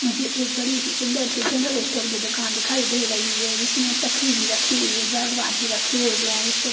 मुझे एक बड़ी सी सुंदर सी जेनरल स्टोर की दुकान दिखाई दे रही है जिसमें तकली भी रखी हुई है भी रखे हुए हैं इसमें--